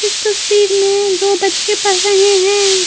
इस तस्वीर में दो बच्चे पढ़ रहे हैं।